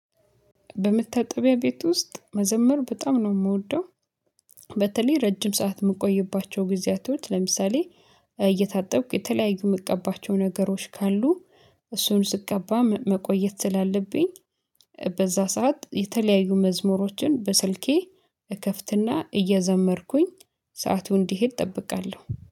በመታጠቢያ ቤት ውስጥ መዘመር በጣም ነው የምወደው። በተለይ ረጅም ሰዓት የምቆይባቸው ጊዜያቶች አትሁድ ለምሳሌ እየታጠብኩ የተለያዩ የምትቀባቸው ነገሮች ካሉ። እሱን ስቀባ መቆየት ስላለብኝ። በዛ ሰዓት የተለያዩ መዝሙሮችን በስልኬ እከፍትና እየዘመርኩኝ ሰዓቱ እንዲሄድ እጠብቃለሁ